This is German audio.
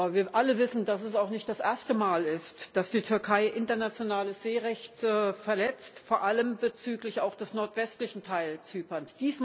Wir alle wissen, dass es nicht das erste Mal ist, dass die Türkei internationales Seerecht verletzt, vor allem bezüglich des nordwestlichen Teils Zyperns.